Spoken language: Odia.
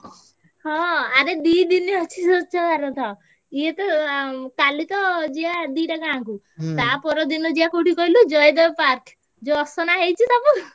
ହଁ ଆରେ ଦି ଦିନି ଅଛି ସ୍ୱଛ ଭାରତ। ଇଏତ ଆ~ କାଲିତ ଯିବା ଦିଟା ଗାଁକୁ। ତା ପରଦିନ ଯିବା କୋଉଠିକି କହିଲୁ ଜୟଦେବ park ଯୋଉ ଅସନା ହେଇଛି ସବୁ।